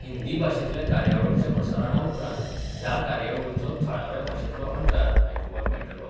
हिंदी भाषेतल्या कार्यावळीच्या प्रसारणा उपरांत ह्या कार्यावळीचो थळाव्या भाषेतलो अणकार आयकुपाक मेळटलो.